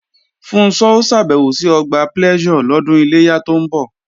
Funṣọ́ ó ṣàbẹ̀wò sí Ọgbà Pleasure lọ́dún Iléyá tó ń bọ̀